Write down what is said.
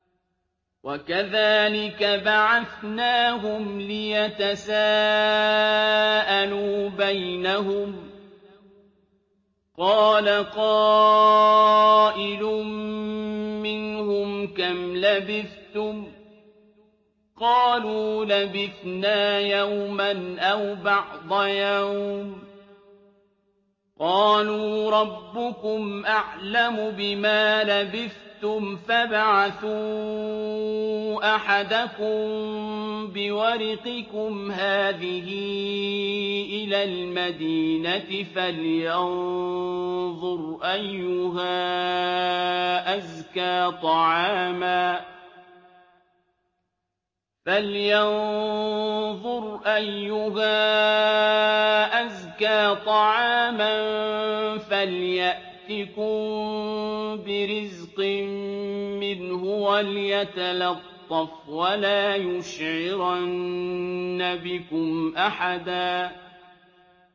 وَكَذَٰلِكَ بَعَثْنَاهُمْ لِيَتَسَاءَلُوا بَيْنَهُمْ ۚ قَالَ قَائِلٌ مِّنْهُمْ كَمْ لَبِثْتُمْ ۖ قَالُوا لَبِثْنَا يَوْمًا أَوْ بَعْضَ يَوْمٍ ۚ قَالُوا رَبُّكُمْ أَعْلَمُ بِمَا لَبِثْتُمْ فَابْعَثُوا أَحَدَكُم بِوَرِقِكُمْ هَٰذِهِ إِلَى الْمَدِينَةِ فَلْيَنظُرْ أَيُّهَا أَزْكَىٰ طَعَامًا فَلْيَأْتِكُم بِرِزْقٍ مِّنْهُ وَلْيَتَلَطَّفْ وَلَا يُشْعِرَنَّ بِكُمْ أَحَدًا